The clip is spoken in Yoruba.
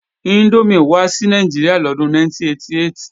Índómì wá sí Nàìjíríà lọ́dún 1988